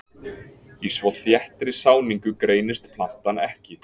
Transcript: Í svo þéttri sáningu greinist plantan ekki.